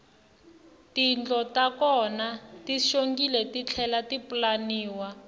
tindlo ta kona ti xongile titlhela ti pulaniwa